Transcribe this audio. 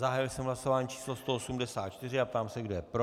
Zahájil jsem hlasování číslo 184 a ptám se, kdo je pro.